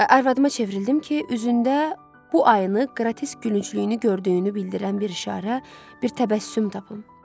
Arvadıma çevrildim ki, üzündə bu ayını qrotesk gülünclüyünü gördüyünü bildirən bir işarə, bir təbəssüm tapım.